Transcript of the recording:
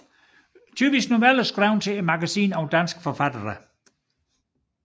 Typisk noveller skrevet til magasinet af danske forfattere